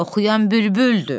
Oxuyan bülbüldür.